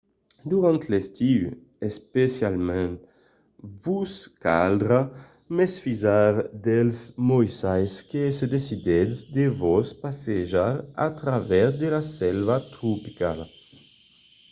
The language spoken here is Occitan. durant l’estiu especialament vos caldrà mesfisar dels moissals se decidissètz de vos passejar a travèrs de la selva tropicala